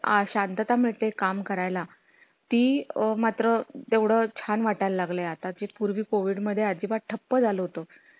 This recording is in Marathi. अशांतता मिळते काम करायला. ती मात्र तेवढे छान वाटाय ला लागले आता ते पूर्वी covid मध्ये अजिबात ठप्प झालं होतं